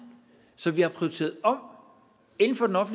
så vi har prioriteret om inden for